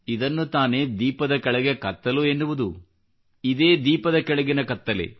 ಇದನ್ನು ತಾನೇ ದೀಪದ ಕೆಳಗೆ ಕತ್ತಲೆ ಎನ್ನುವುದು ಇದೇ ದೀಪದ ಕೆಳಗಿನ ಕತ್ತಲೆ